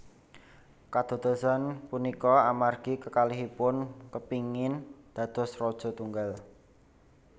Kadadosan punika amargi kekalihipun kepingin dados raja tunggal